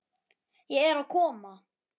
Ég er að koma